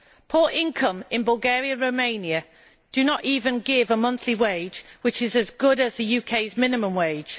Poor income in Bulgaria and Romania does not even give a monthly wage which is as good as the UK's minimum wage.